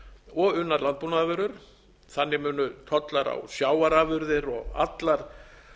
og unnar landbúnaðarvörur þannig munu tollar á sjávarafurðir og allar